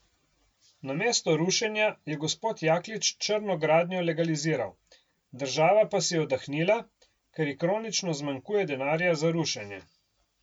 Namesto rušenja je gospod Jaklič črno gradnjo legaliziral, država pa si je oddahnila, ker ji kronično zmanjkuje denarja za rušenje.